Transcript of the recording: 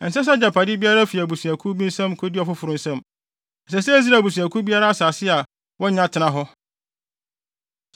Ɛnsɛ sɛ agyapade biara fi abusuakuw bi nsam kodi ɔfoforo nsam, ɛsɛ sɛ Israel Abusuakuw biara asase a wanya no tena hɔ.”